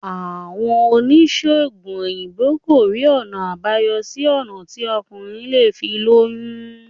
Àwọn oníṣègùn òyìnbó kò rí ọ̀nà àbáyọ sí ọ̀nà tí ọkùnrin lè fi lóyún